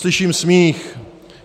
Slyším smích.